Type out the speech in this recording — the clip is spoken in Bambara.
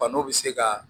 Fano bɛ se ka